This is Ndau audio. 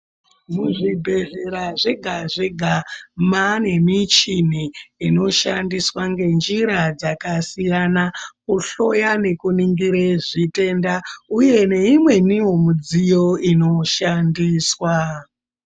Muzvibhedhlera zvega zvega maane michini inoshandiswa ngenjira dzakasiyana kuhloya nekuningire zvitenda uye neimweniwo midziyo inoshandiswa.